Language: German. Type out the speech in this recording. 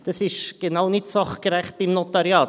Das ist genau nicht sachgerecht beim Notariat.